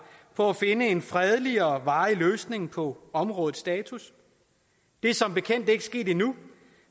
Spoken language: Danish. for at finde en fredelig og varig løsning på områdets status det er som bekendt ikke sket endnu